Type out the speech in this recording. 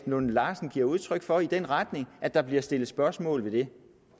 lunde larsen giver udtryk for i den retning at der bliver sat spørgsmålstegn